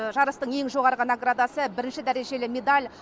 жарыстың ең жоғары наградасы бірінші дәрежелі медаль